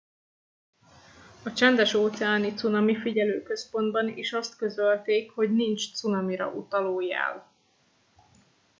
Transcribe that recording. a csendes óceáni cunamifigyelő központban is azt közölték hogy nincs cunamira utaló jel